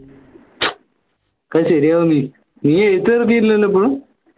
ഒക്കെ ശരിയാവു നീ എഴുത് നിർത്തിട്ടില്ലാലോ ഇപ്പളു